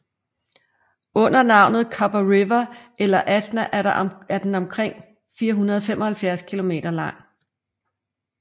Under navnet Copper River eller Athna er den omkring 475 kilometer lang